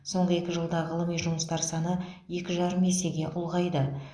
соңғы екі жылда ғылыми жұмыстар саны екі жарым есеге ұлғайды